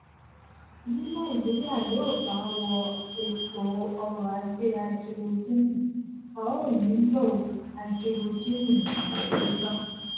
bí nàìjíríà yòó bá wọ ètò ọrò ajé háídírójìnì a óò nílò háídírójìnì tàdáyébá